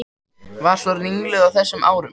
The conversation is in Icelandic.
Var svo ringluð á þessum árum.